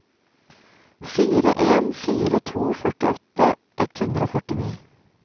fire en fire to førtiåtte ett hundre og førtini